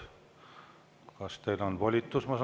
Kas teil on volitus?